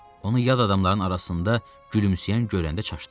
Onu yad adamların arasında gülümsəyən görəndə çaşdı.